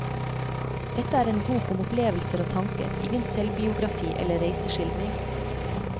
Dette er en bok om opplevelser og tanker, ingen selvbiografi eller reiseskildring.